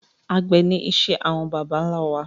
Àgbẹ̀ ni iṣẹ́ àwọn bàbà ńlá wa